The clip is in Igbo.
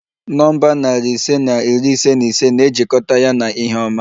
Nọmba narị ise na iri ise na ise na-ejikọta ya na ihe ọma